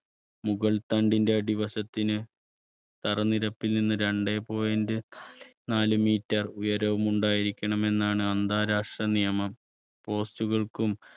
മുകൾ തണ്ടിന്റെ അടിവശത്തിന് തറനിരപ്പിൽ നിന്ന് രണ്ടേ point നാല് meter ഉയരവും ഉണ്ടായിരിക്കണമെന്നാണ് അന്താരാഷ്ട്ര നിയമം. post കൾക്കും